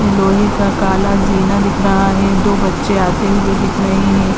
लोहे का ताला जीना दिख रहा है। दो बच्चे आते हुए दिख रहे हैं।